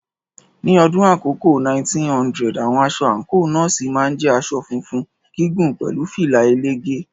Ní ọdún àkọ́kọ́ 1900, àwọn aṣọ àǹkóò Nọ́ọ̀sì máa ń jẹ́ aṣọ funfun gígùn pẹ̀lú fìlà ẹlẹ́gẹ̀ẹ́.